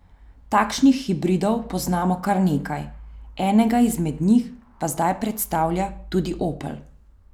Takšnih hibridov poznamo kar nekaj, enega izmed njih pa zdaj predstavlja tudi Opel.